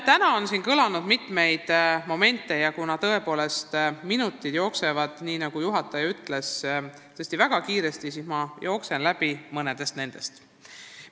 Täna on siin tõstatatud mitmeid momente ja kuna tõepoolest minutid jooksevad, nagu juhataja ütles, väga kiiresti, siis ma käin mõned teemad jooksuga läbi.